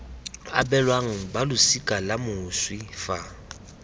abelwang balosika la moswi fa